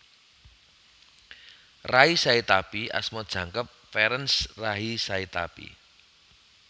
Ray Sahetapy asma jangkep Ferenc Ray Sahetapy